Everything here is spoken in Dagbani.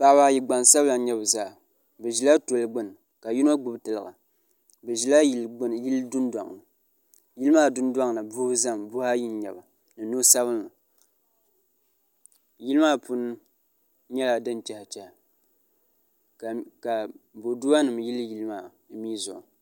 paɣaba ayi gbansabila n nyɛ bi zaa bi ʒila toli gbuni ka yino gbubi tiliga bi ʒila yili dundoŋni yili maa dundoŋni buhi ʒɛmi buhi ayi n nyɛba ni no sabinli yili maa puuni nyɛla din tiɛhi tiɛhi ka boduwa nim yili yili maa mii zuɣu